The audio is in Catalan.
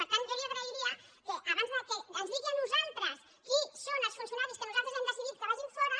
per tant jo li agrairia que abans que ens digui a nosaltres qui són els funcionaris que nosaltres hem decidit que vagin fora